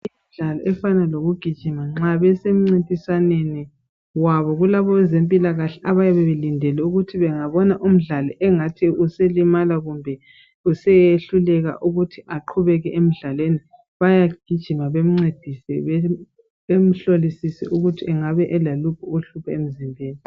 Imidlalo efana lokugijima nxa besencintiswaneni wabo kulabezempilakahle abayabe belindele ukuthi bengabona umdali engathi uselimala kumbe useyehluleka ukuthi aqhubeke emdlalweni bayagijima bencedise bemhlolisise ukuthi angabe elaluphi uhlupho emzimbeni.